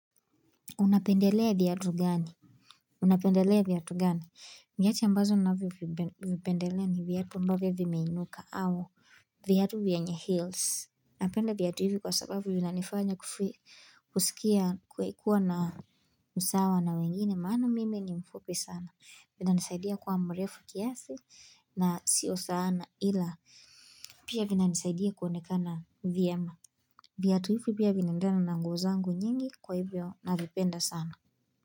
Unapendelea viatu gani? Unapendelea vyatu gani? Viatu ambazo ninavyovipendelea ni viatu ambavyo vimeinuka au viatu vyenye heels. Napenda viatu hivi kwa sababu vinanifanya kusikia kuwa na usawa na wengine maana mimi ni mfupi sana. Vinanisaidia kuwa mrefu kiasi na sio sana ila pia vinanisaidia kuonekana vyema. Viatu hivi pia vinaendana na nguo zangu nyingi kwa hivyo navipenda sana.